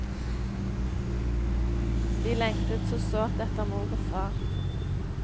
De lengtet så sårt etter mor og far.